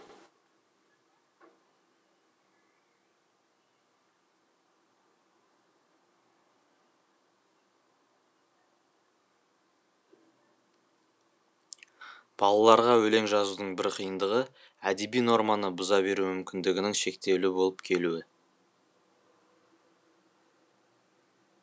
балаларға өлең жазудың бір қиындығы әдеби норманы бұза беру мүмкіндігінің шектеулі болып келуі